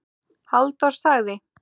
Halldór sagði